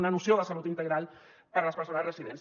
una noció de salut integral per a les persones residents